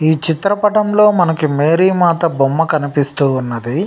ఈ చిత్ర పఠం లో మనకి మేరీ మాత బొమ్మ కనిపిస్తూ ఉన్నదీ.